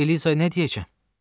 Mən Eliza nə deyəcəm?